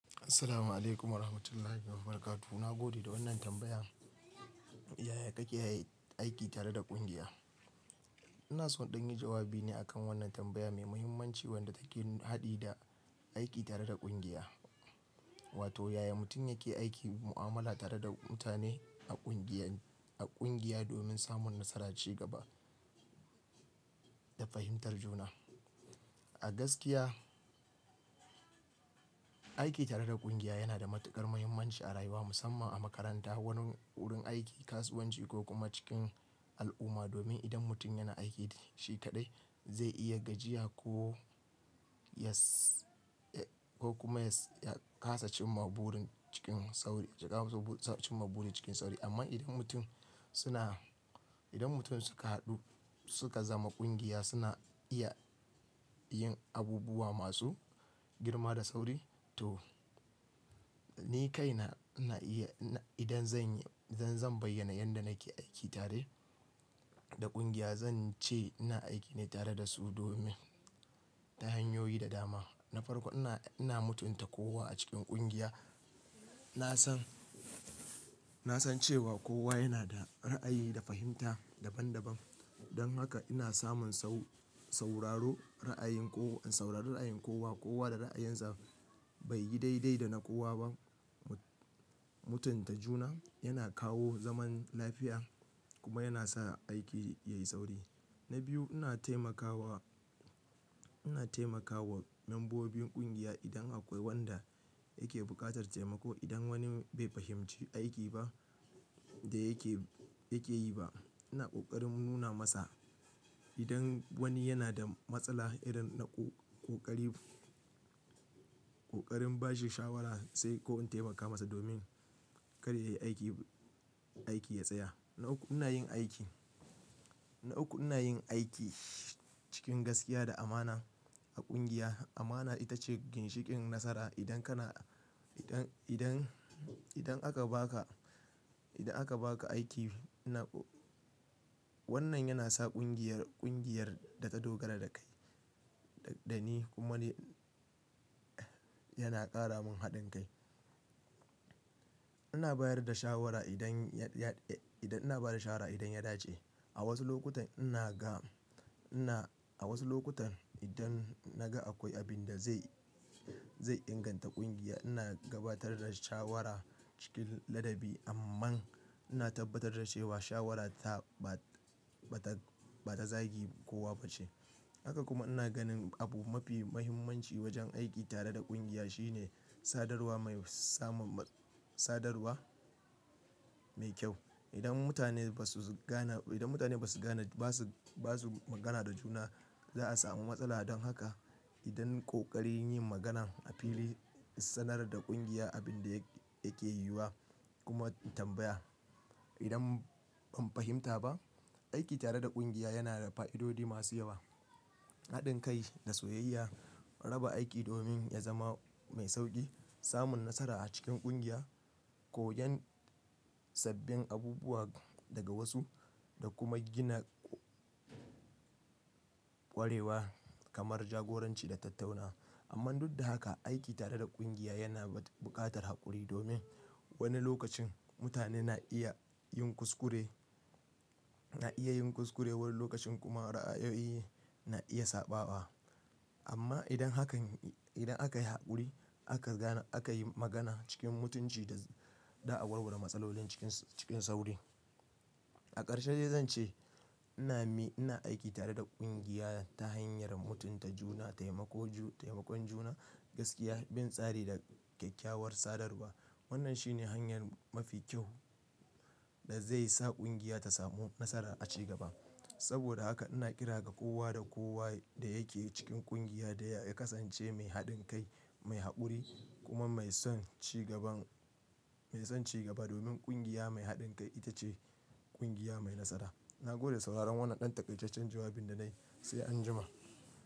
Assalamu alaikum wa rahmatullahi wa barakatuh. Na gode da wannan tambaya. Yaya kake aiki tare da ƙungiya? Ina so in ɗanyi jawabi ne akan wannan tambaya mai muhimmanci wadda take haɗi da aiki tare da ƙungiya. Wato yaya mutum yake aiki mu'amala tare da mutane a ƙungiya, domin samun nasara ci gaba da fahimtar juna. A gaskiya, aiki tare da ƙungiya yana da matuƙar muhimmanci a rayuwa musamman a makaranta, wani wurin aiki, kasuwanci ko kuma cikin al'umma. Domin idan mutum yana aiki shi kaɗai zai iya gajiya ko ya kasa cin maburin cikin sauri. Amma idan mutum suka haɗu suka zama ƙungiya suna iya yin abubuwa masu girma da sauri. To ni kai na, idan zan bayyana yadda nake aiki tare da ƙungiya. Zan ce ina aiki ne tare da su domin ta hanyoyi da dama. Na farko ina, ina mutunta kowa a cikin ƙungiya. Na san, na san cewa kowa yana da ra'ayi da fahimta daban daban. Don haka ina samun in saurari ra'ayin kowa. Kowa da ra'ayinsa bai yi daidai da na kowa ba. Mutunta juna yana kawo zaman lafiya kuma yana sa aiki yayi sauri. Na biyu ina taimakawa membobin ƙungiya idan akwai wanda yake buƙatar taimako. Idan wani bai fahimci aiki ba da yake yi ba ina ƙoƙari nuna masa. Idan wani yana da matsala ina ƙoƙarin bashi shawara sai ko in taimaka masa domin kada ya yi aiki, aiki ya tsaya. Na uku ina yin aiki, na uku ina yin aiki cikin gaskiya da amana a ƙungiya. Amana ita ce ginshiƙin nasara. Idan aka baka aiki. Wannan yana sa ƙungiyar ta dogara da kai da ni. Kuma yana ƙara mun haɗin kai. Ina bayar da shawara. Ina bada shawara idan ya dace. A wasu lokutan idan na ga akwai abin da zai inganta ƙungiya ina gabatar da shawara cikin ladabi. Amman ina tabbatar da cewa shawarata ba ta zagin kowa ba ce. Haka kuma ina ganin abu mafi muhimmanci wajen aiki tare da ƙungiya shine sadarwa mai kyau. Idan mutane ba su magana da juna za a samu matsala. Don haka ina ƙoƙarin yin magana a fili, sanar da ƙungiya abin da yake yiwuwa kuma tambaya idan ban fahimta ba. Aiki tare da ƙungiya yana da fa'idodi masu yawa. Haɗin kai da soyayya, raba aiki domin ya zama mai sauƙi, samun nasara a cikin ƙungiya, koyon sabbin abubuwa daga wasu da kuma gina ƙwarewa kamar jagoranci da tattaunawa. Amma duk da haka, aiki tare da ƙungiya yana buƙatar haƙuri domin wani lokacin mutane na iya yin kuskure wani lokacin kuma ra'ayoyi na iya sabawa. Amma idan aka yi haƙuri aka yi magana cikin mutunci a warware matsalolin cikin sauri. A ƙarshe zan ce ina aiki tare da ƙungiya ta hanyar mutunta juna, taimakon juna, gaskiya, bin tsari da kyakkyawar sadarwa. Wannan shi ne hanyar mafi kyau da zai sa ƙungiya ta samu nasara a ci gaba. Saboda haka ina kira ga kowa da kowa da yake cikin ƙungiya da ya kasance mai haɗin kai, mai haƙuri kuma mai son ci gaba. Domin ƙungiya mai haɗin kai ita ce ƙungiya mai nasara. Na gode sauraron wannan ɗan takaisaccen jawabin da na yi, sai anjima.